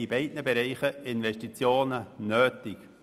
In beiden Bereichen sind Investitionen notwendig.